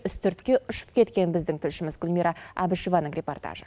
үстіртке ұшып кеткен біздің тілшіміз гүлмира әбішеваның репортажы